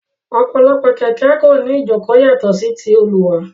Ọ̀pọ̀ àwọn kẹ̀kẹ́ kò ní ìjókòó yàtọ̀ sí ti olùwà.